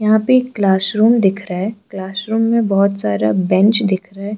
यहां पे ये क्लास रूम दिख रहा है क्लास रूम में बहुत सारा बेंच दिख रहा है।